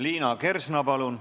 Liina Kersna, palun!